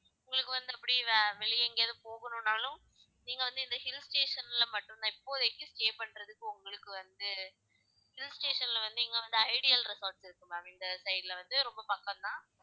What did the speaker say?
உங்களுக்கு வந்து அப்படி வெளியே எங்கயாவது போகணும்னாலும் நீங்க வந்து இந்த hill station ல மட்டும் தான் இப்போதைக்கு stay ப்ண்றதுக்கு உங்களுக்கு வந்து hill station ல வந்து இங்க வந்து ஐடியல் ரிசார்ட்ஸ் இருக்கு ma'am இந்த side ல வந்து ரொம்ப பக்கம் தான்